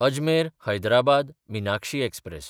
अजमेर–हैदराबाद Meenakshi express